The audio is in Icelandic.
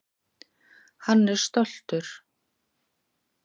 Hann er stoltur.